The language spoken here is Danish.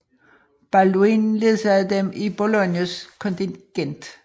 Balduin ledsagede dem i Boulognes kontingent